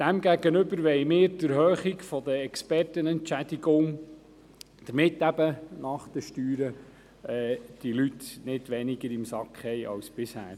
Demgegenüber wollen wir die Erhöhung der Expertenentschädigung, damit diese Personen nach den Steuern nicht weniger im Sack haben als bisher.